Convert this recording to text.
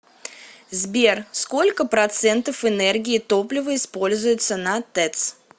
сбер сколько процентов энергии топлива используется на тэц